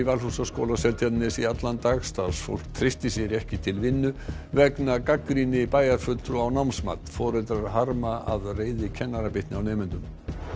Valhúsaskóla á Seltjarnarnesi í allan dag starfsfólk treysti sér ekki til vinnu vegna gagnrýni bæjarfulltrúa á námsmat foreldrar harma að reiði kennara bitni á nemendum